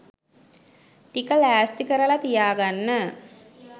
ටික ලෑස්ති කරල තියාගන්න.